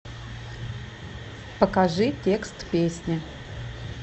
покажи текст песни